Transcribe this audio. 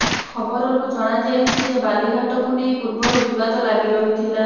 ଖବରରୁ ଜଣାଯାଇଛି ଯେ ବାଲିଘାଟ କୁ ନେଇ ପୁର୍ବରୁ ବିବାଦ ଲାଗି ରହିଥିଲା